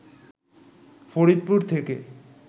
ফরিদপুর থেকে